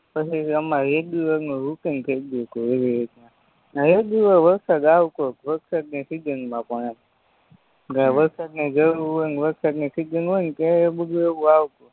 પછી હમારે રેગ્યુલરનું રૂટિંગ થય ગયું તું એવી રીતના રેગ્યુલર વરસાદ આવતોજ વરસાદની સીજનમાં પણ એમ વરસાદની જરૂર હોય ને વરસાદની સીજન હોયને તયે બધુય એવું